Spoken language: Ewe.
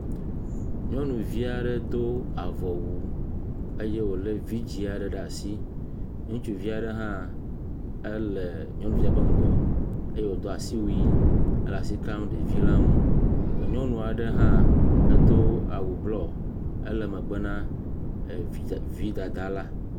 Nyɔnuvi aɖe do avɔwu eye wòlé vidzi aɖe ɖe asi, ŋutsuvi aɖe hã ele nyɔnuvia ƒe ŋgɔ eye wodo asiwui hele asi kamɖevia ŋu, nyɔnu aɖe hã edo awu blɔ ele megbe na evidze…vi dada la.